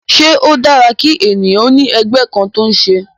Ṣé ó dára kí ènìyàn ó ní ẹgbẹ́ kan tó ń ṣe?